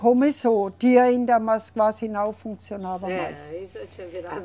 Começou, tinha ainda, mas quase não funcionava mais. Era, aí já tinha virado